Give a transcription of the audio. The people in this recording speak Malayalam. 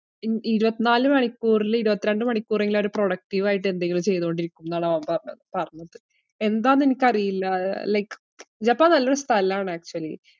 ഇൻ~ ഇരുവത്നാല് മണിക്കൂറില് ഇരുപത്തിരണ്ട് മണിക്കൂറെങ്കിലും അവര് productive ആയിട്ട് എന്തെങ്കിലും ചെയ്തോണ്ടിരിക്കുംന്നാണ് അവൻ പറഞ്ഞ~ പറഞ്ഞത്. എന്താന്നെനിക്കറിയില്ല ആഹ് like ജപ്പാൻ നല്ലൊരു സ്ഥലാണ് actually.